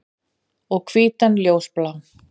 Og hvítan ljósblá.